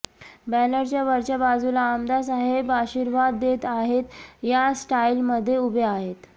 बँनरच्या वरच्या बाजूला आमदार साहेब आशीर्वाद देत आहेत या स्टाईल मध्ये उभे आहेत